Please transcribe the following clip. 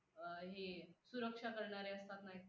अं हे सुरक्षा करणारे असतात ना